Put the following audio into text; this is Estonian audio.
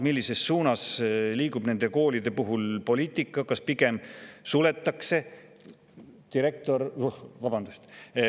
Millises suunas liigub nende koolide puhul poliitika: kas pigem suletakse?